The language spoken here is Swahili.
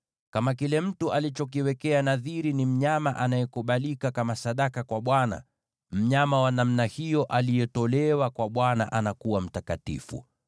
“ ‘Kama kile mtu alichokiwekea nadhiri ni mnyama anayekubalika kama sadaka kwa Bwana , mnyama wa namna hiyo aliyetolewa kwa Bwana anakuwa mtakatifu.